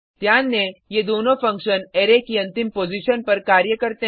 ध्यान दें ये दोनों फंक्शन अरै की अंतिम पॉजिशन पर कार्य करते हैं